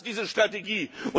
wir. Das ist diese Strategie.